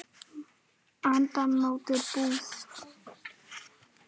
Annað mótið búið!